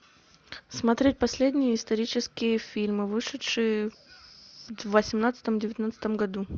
смотреть последние исторические фильмы вышедшие в восемнадцатом девятнадцатом году